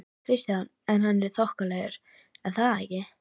Kristján: En hann er þokkalegur er það ekki?